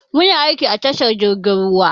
Muna aiki a tashar jirgin ruwa.